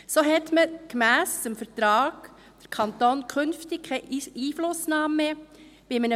So hat der Kanton, gemäss Vertrag, künftig bei einem Verkauf keine Einflussnahme mehr.